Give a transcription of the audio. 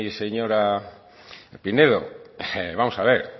señora pinedo vamos a ver